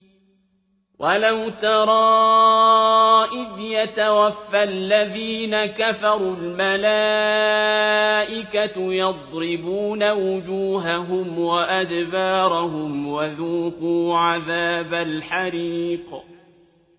وَلَوْ تَرَىٰ إِذْ يَتَوَفَّى الَّذِينَ كَفَرُوا ۙ الْمَلَائِكَةُ يَضْرِبُونَ وُجُوهَهُمْ وَأَدْبَارَهُمْ وَذُوقُوا عَذَابَ الْحَرِيقِ